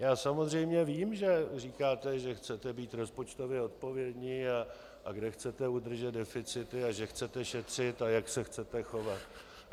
Já samozřejmě vím, že říkáte, že chcete být rozpočtově odpovědní a kde chcete udržet deficity a že chcete šetřit a jak se chcete chovat.